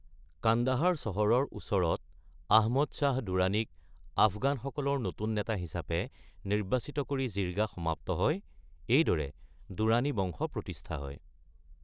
কান্দাহাৰ চহৰৰ ওচৰত আহমদ শ্বাহ দুৰাণীক আফগানসকলৰ নতুন নেতা হিচাপে নিৰ্বাচিত কৰি জিৰ্গা সমাপ্ত হয়, এইদৰে দুৰ্ৰানী বংশ প্ৰতিষ্ঠা হয়।